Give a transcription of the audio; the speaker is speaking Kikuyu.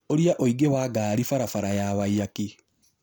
ũrĩa ũingĩ wa ngari barabara ya Waiyaki